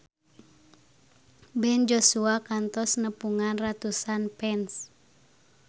Ben Joshua kantos nepungan ratusan fans